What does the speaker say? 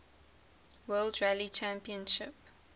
world rally championship